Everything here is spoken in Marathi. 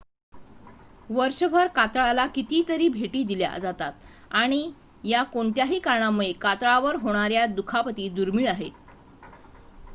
वर्षभर कातळाला कितीतरी भेटी दिल्या जातात आणि या कोणत्याही कारणांमुळे कातळावर होणाऱ्या दुखापती दुर्मीळ आहेत